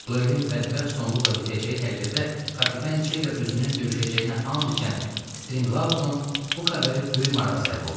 Duelin bədbəxt sonluqla bitəcəyi təqdirdə kapitan C ilə özünün döyüşəcəyinə and içən Strinqlovun bu xəbəri böyük marağa səbəb olub.